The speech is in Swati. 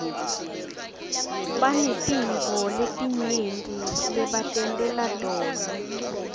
banetintfo letinyenti lebatentela tona